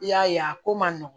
I y'a ye a ko man nɔgɔn